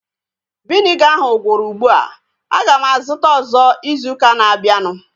Viniga ahu gwụrụ ugbua. Aga m azụta ọzọ izu ụka na-abịanụ